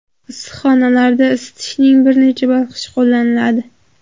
Issiqxonalarda isitishning bir necha bosqichi qo‘llaniladi.